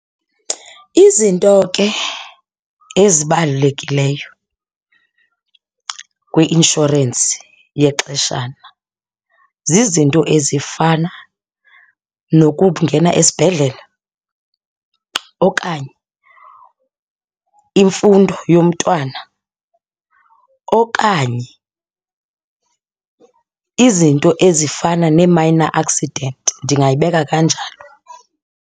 Izinto ke ezibalulekileyo kwi-inshorensi yexeshana zizinto ezifana nokungena esibhedlele okanye imfundo yomntwana okanye izinto ezifana nee-minor accident, ndingayibeka kanjalo.